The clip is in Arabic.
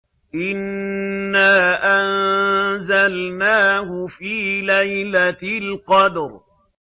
إِنَّا أَنزَلْنَاهُ فِي لَيْلَةِ الْقَدْرِ